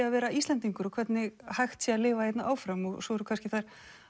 að vera Íslendingur og hvernig hægt sé að lifa hérna áfram svo eru kannski þær